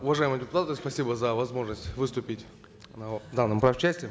уважаемые депутаты спасибо за возможность выступить на данном правчасе